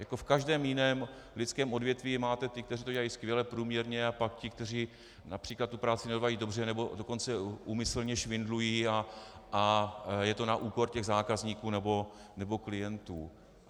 Jako v každém jiném lidském odvětví máte ty, kteří to dělají skvěle, průměrně, a pak ty, kteří například tu práci nedělají dobře, nebo dokonce úmyslně švindlují a je to na úkor těch zákazníků nebo klientů.